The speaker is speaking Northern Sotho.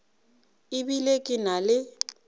e bile ke na le